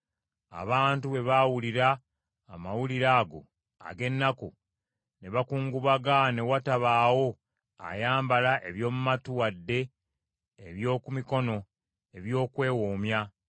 Abantu bwe baawulira amawulire ago ag’ennaku, ne bakungubaga ne watabaawo ayambala eby’omu matu wadde eby’oku mikono ebyokwewoomya.